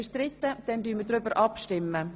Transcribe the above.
Wir stimmen darüber ab.